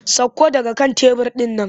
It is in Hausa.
Sakko daga kan tebur ɗin nan!